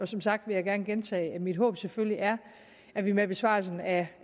som sagt vil jeg gerne gentage at mit håb selvfølgelig er at vi med besvarelsen af